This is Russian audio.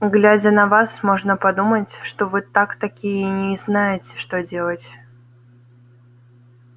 глядя на вас можно подумать что вы так таки и не знаете что делать